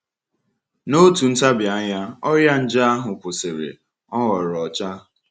N’otu ntabi anya, ọrịa nje ahụ kwụsịrị, ọ ghọrọ ọcha.